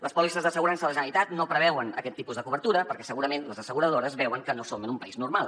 les pòlisses d’assegurances de la generalitat no preveuen aquest tipus de cobertura perquè segurament les asseguradores veuen que no som en un país normal